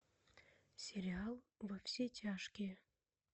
сериал во все тяжкие